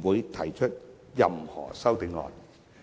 不會提出任何修正案。